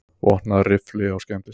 Vopnaður riffli á skemmtistað